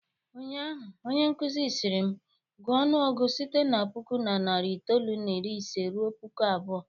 Ụnyaahụ, onyenkụzi sịrị m, gụọ ọnụọgụgụ site na puku na narị itoolu na iri ise ruo puku abụọ!